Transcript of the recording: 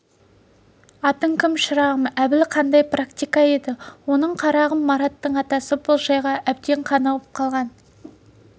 атың кім шырағым әбіл қаңдай практика еді оның қарағым мараттың атасы бұл жайға әбден қанығып алған